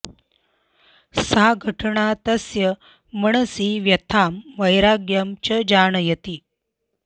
सा घटना तस्य मनसि व्यथां वैराग्यं च जनयति